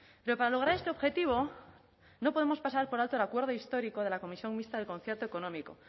pero para lograr este objetivo no podemos pasar por alto el acuerdo histórico de la comisión mixta del concierto económico